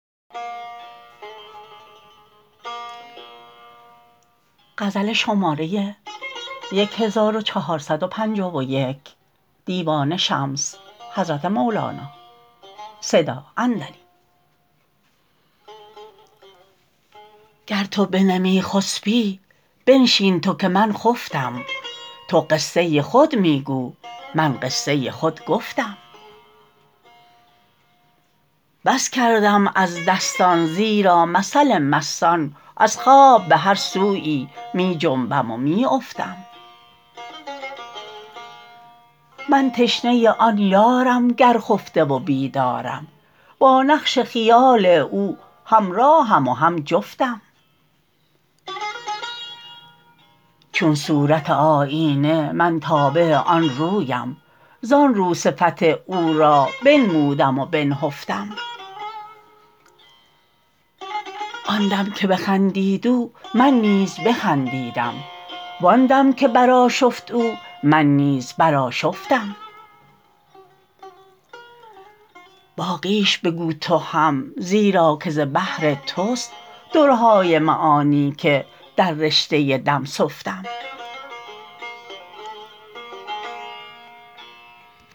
گر تو بنمی خسپی بنشین تو که من خفتم تو قصه خود می گو من قصه خود گفتم بس کردم از دستان زیرا مثل مستان از خواب به هر سویی می خنبم و می افتم من تشنه آن یارم گر خفته و بیدارم با نقش خیال او همراهم و هم جفتم چون صورت آیینه من تابع آن رویم زان رو صفت او را بنمودم و بنهفتم آن دم که بخندید او من نیز بخندیدم وان دم که برآشفت او من نیز برآشفتم باقیش بگو تو هم زیرا که ز بحر توست درهای معانی که در رشته دم سفتم